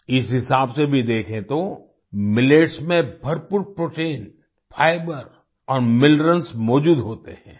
इस हिसाब से भी देखेँ तो मिलेट्स में भरपूर प्रोटीन फाइबर और मिनरल्स मौजूद होते हैं